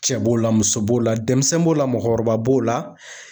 Cɛ b'o la muso b'o la denmisɛnnin b'o la mɔgɔkɔrɔba b'o la